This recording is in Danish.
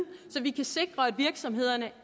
så vi kan sikre at virksomhederne